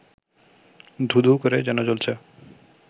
ধূ-ধূ করে যেন জ্বলছে